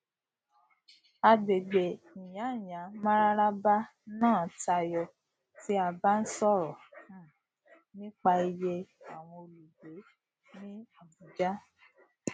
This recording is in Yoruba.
agbègbè nyanyamararaba náà tayọ tí a bá ń sọrọ um nípa iye àwọn olùgbé ní abuja